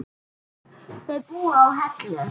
Þau búa á Hellu.